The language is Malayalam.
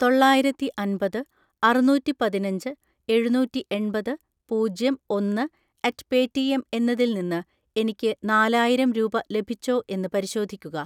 തൊള്ളായിരത്തിഅൻപത് അറുനൂറ്റിപതിനഞ്ച് എഴുനൂറ്റിഎൺപത് പൂജ്യം ഒന്ന് അറ്റ് പേറ്റിഎം എന്നതിൽ നിന്ന് എനിക്ക് നാലായിരം രൂപ ലഭിച്ചോ എന്ന് പരിശോധിക്കുക.